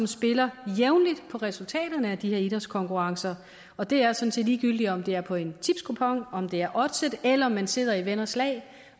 spiller på resultaterne af de idrætskonkurrencer og det er sådan set ligegyldigt om det er på en tipskupon om det er oddset eller om man sidder i venners lag